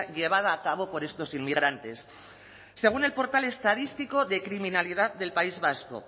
llevada a cabo por estos inmigrantes según el portal estadístico de criminalidad del país vasco